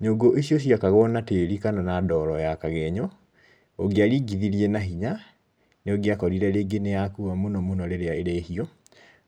Nyũngũ icio ciakagwo na tĩri kana na ndoro ya kagenyo ũngĩaringithiriĩ na hinya nĩũngĩakorire nĩ yakua mũno mũno rĩrĩa ĩrĩhiũ.